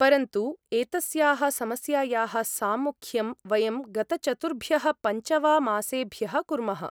परन्तु एतस्याः समस्यायाः साम्मुख्यं वयं गतचतुर्भ्यः पञ्च वा मासेभ्यः कुर्मः।